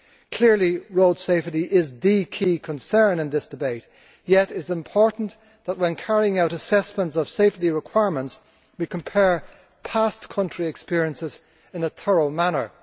Clearly road safety is the key concern in this debate, yet it is important that when carrying out assessments of safety requirements we compare past country experiences in a thorough manner.